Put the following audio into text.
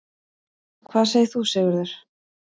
Hvað segir þú, Sigurður?